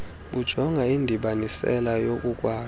bujonga indibanisela yokukwazi